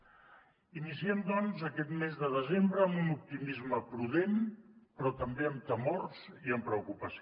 iniciem doncs aquest mes de desembre amb un optimisme prudent però també amb temors i amb preocupació